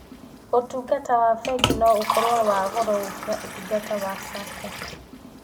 ũtungata wa bengi no ũkorũo wa goro gũkĩra ũtungata wa sacco.